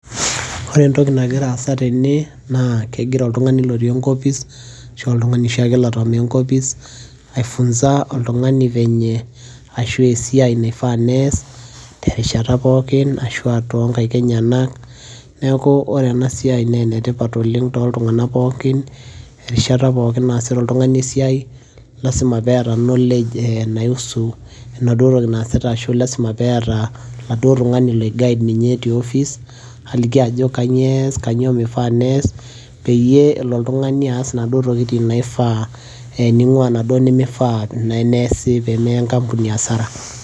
ore entoki nagira aasa tene naa kegira oltungani otii enkopis ashu oltungani oshiake lotamoo enkopis. aifunsa oltungani fenye, ashu esiai naifaa nees terishata pookin, ashu aa too nkik enyenak, neeku ore ena siai naa ene tipat oleng tooltunganak pookin. erishata pookin naasita oltungani pooki esiai. lasima pee eeta knowledge naiusu enaduoo toki naasita ashu lasima pee eeta oladuo tungani loi guide ninye tiopis aliki ajo kainyioo ees, kainyioo mifaa pees. peyie elo oltungani aas inaduoo tokitin naifaa, ning'ua inaduoo nemees, pee meya enkampuni asara.